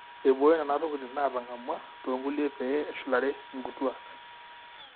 eibooyo nena tokitin naatang'amua toonkulie pee eshulare inkutuaak